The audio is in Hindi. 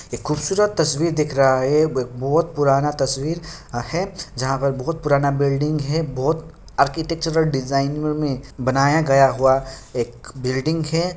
एक खूबसूरत तस्वीर दिख रहा है बहुत पुराना तस्वीर है जहा पर बहुत पुराना बिल्डिंग है बहुत आर्किटेक्चर डिजाइन मे बनाया गया हुआ एक बिल्डिंग है।